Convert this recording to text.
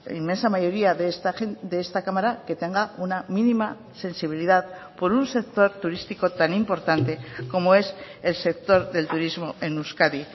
inmensa mayoría de esta cámara que tenga una mínima sensibilidad por un sector turístico tan importante como es el sector del turismo en euskadi